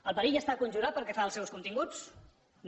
el perill està conjurat pel que fa als seus continguts no